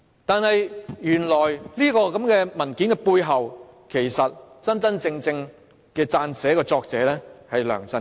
但是，原來這份文件背後真正的撰寫人是梁振英。